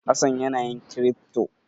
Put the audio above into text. Hassan yana yin kirifto.